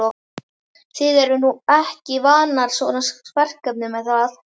Þið eruð nú ekki vanar svona verkefnum er það?